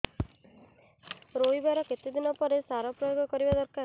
ରୋଈବା ର କେତେ ଦିନ ପରେ ସାର ପ୍ରୋୟାଗ କରିବା ଦରକାର